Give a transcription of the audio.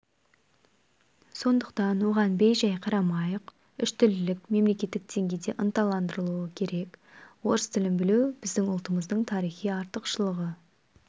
сондықтан оған бей-жай қарамайық үштілділік мемлекеттік деңгейде ынталандырылуы керек орыс тілін білу біздің ұлтымыздың тарихи артықшылығы